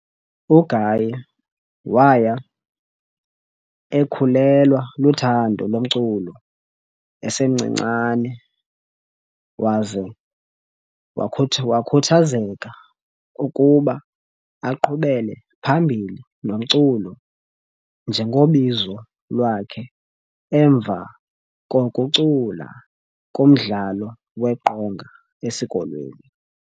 UGaye waya ekhulelwa luthando lomculo esemncinane waza wakhuthazeka ukuba aqhubele phambili nomculo njengobizo lwakhe emva kokucula kumdlalo weqonga esikolweni.